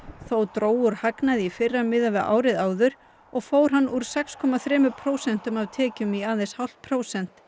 þó dró úr hagnaði í fyrra miðað við árið áður og fór hann úr sex komma þremur prósentum af tekjum í aðeins hálft prósent